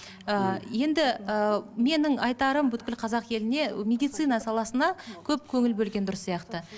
ыыы енді ыыы менің айтарым қазақ еліне медицина саласына көп көңіл бөлген дұрыс сияқты